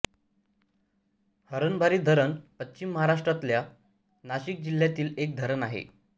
हरणबारी धरण पश्चिम महाराष्ट्रातल्या नाशिक जिल्ह्यातील एक धरण आहे